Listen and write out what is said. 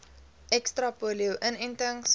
ekstra polio inentings